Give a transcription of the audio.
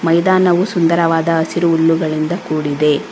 ಮೈದಾನವು ಸುಂದರವಾದ ಹಸಿರು ಹುಲ್ಲುಗಳಿಂದ ಕೂಡಿದೆ.